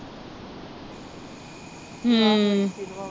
ਹਮ